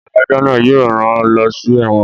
Adájọ́ náà yóò rán lọ sí ẹ́wọ̀n